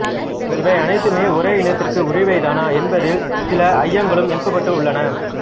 இவை அனைத்துமே ஒரே இனத்துக்கு உரியவைதானா என்பதிற் சில ஐயங்களும் எழுப்பப்பட்டு உள்ளன